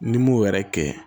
N'i m'o wɛrɛ kɛ